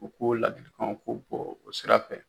U k'o ladilikanw, u k'u bɔ o sira fɛ